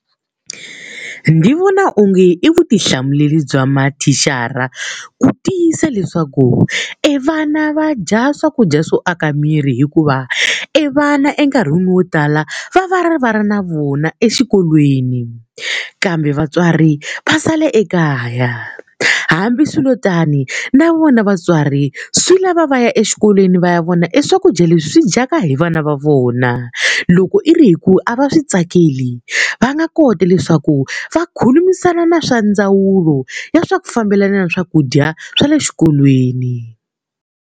Ndzi vona onge i vutihlamuleri bya mathicara ku tiyisa leswaku evana va dya swakudya swo aka miri hikuva, e vana enkarhini wo tala va va ri va ri na vona exikolweni kambe vatswari va sale ekaya. Hambiswiritani na vona vatswari swi lava va ya exikolweni va ya vona eswakudya leswi swi dyaka hi vana va vona. Loko i ri hi ku a va swi tsakeli va nga kota leswaku va khulumisana na swa ndzawulo ya swa ku fambelana na swakudya swa le xikolweni.